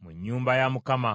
mu nnyumba ya Mukama .